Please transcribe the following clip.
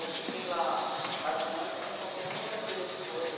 Eu fiquei lá quase um ano sem comer uma verdura de folha.